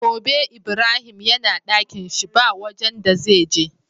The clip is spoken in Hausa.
Gobe ibrahim yana Ɗakinshi ba wajan da zai je